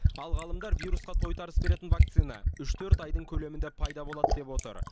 ал ғалымдар вирусқа тойтарыс беретін вакцина үш төрт айдың көлемінде пайда болады деп отыр